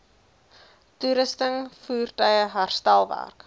toerusting voertuie herstelwerk